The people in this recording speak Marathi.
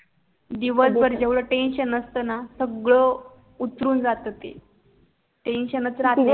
दिवसभर एवढ टेन्सन असत न सगळ उतरून जाते ती टेन्सन च राहत नाही